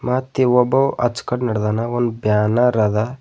ಮತ್ತೆ ಒಬ್ಬವ ಅಚ್ಚಕಡ ನಡದಾನ ಒಂದು ಬ್ಯಾನರ್ ಅದ.